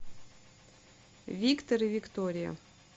виктор и виктория